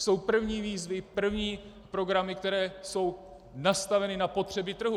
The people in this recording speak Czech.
Jsou první výzvy, první programy, které jsou nastaveny na potřeby trhu.